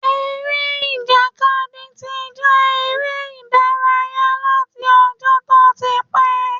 Eré ìjàkadì ti jẹ́ eré ìdárayá láti ọjọ́ tó ti pẹ́.